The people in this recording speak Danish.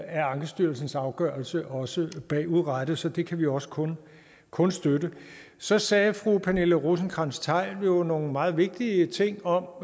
af ankestyrelsens afgørelse også bagudrettet så det kan vi også kun kun støtte så sagde fru pernille rosenkrantz theil jo nogle meget vigtige ting om